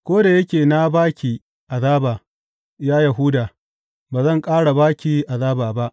Ko da yake na ba ki azaba, ya Yahuda, ba zan ƙara ba ki azaba ba.